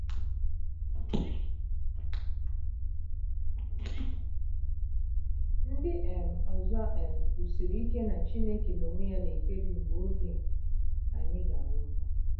Ndị um ọzọ um kwusiri ike na Chineke n’onwe ya na-ekpebi mgbe oge anyị ga-anwụ bụ.